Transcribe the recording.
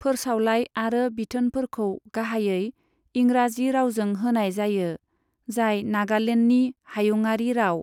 फोरसावलाइ आरो बिथोनफोरखौ गाहायै इंराजि रावजों होनाय जायो, जाय नागालेन्डनि हायुङारि राव।